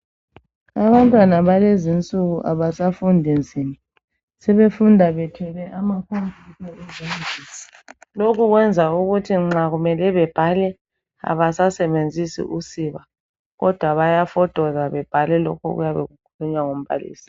Abantwana balezi insuku abasafundi nzima, sebefunda bethwele amakhompiyutha ezandleni. Lokho kwenza ukuthi nxa kumele bebhale abasasebenzisi usiba kodwa bayafotoza bebhale lokho okuyabe kukhulunywa ngumbalisi.